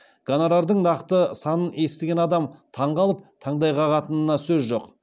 гонорардың нақты санын естіген адам таңқалып таңдай қағатынына сөз жоқ